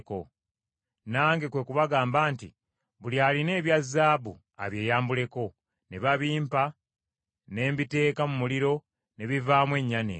Nange kwe kubagamba nti, ‘Buli alina ebya zaabu abyeyambuleko,’ ne babimpa ne mbiteeka mu muliro, ne bivaamu ennyana eno.”